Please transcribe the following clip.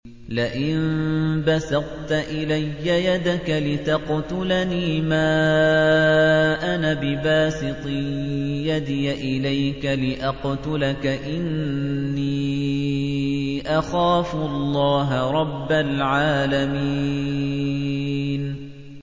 لَئِن بَسَطتَ إِلَيَّ يَدَكَ لِتَقْتُلَنِي مَا أَنَا بِبَاسِطٍ يَدِيَ إِلَيْكَ لِأَقْتُلَكَ ۖ إِنِّي أَخَافُ اللَّهَ رَبَّ الْعَالَمِينَ